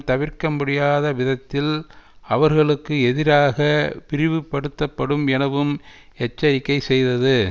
தவிர்க்க முடியாத விதத்தில் அவர்களுக்கு எதிராக விரிவுபடுத்தப்படும் எனவும் எச்சரிக்கை செய்தது